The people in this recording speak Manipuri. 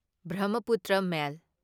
ꯕ꯭ꯔꯍ꯭ꯃꯄꯨꯇ꯭ꯔ ꯃꯦꯜ